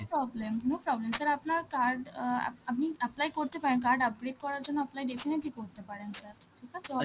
problem, no problem, sir আপনার card uh আপ~ আপনি apply করতে পারেন, card upgrade করার জন্য apply definitely করতে পারেন sir, ঠিক আছে? ও